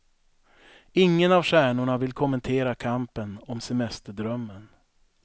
Ingen av stjärnorna vill kommentera kampen om semesterdrömmen.